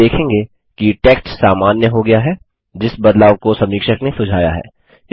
आप देखेंगे कि टेक्स्ट सामान्य हो गया है जिस बदलाव को समीक्षक ने सुझाया है